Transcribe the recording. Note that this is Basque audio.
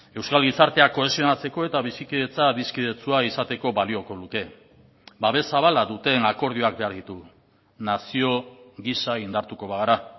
euskal gizartea kohesionatzeko eta bizikidetza adiskidetsua izateko balioko luke babes zabala duten akordioak behar ditugu nazio gisa indartuko bagara